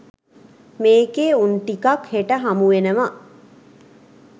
මේකේ උන් ටිකක් හෙට හමුවෙනව